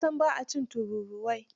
Ta san ba a cin tururuwai.